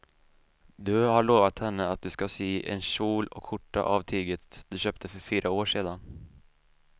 Du har lovat henne att du ska sy en kjol och skjorta av tyget du köpte för fyra år sedan.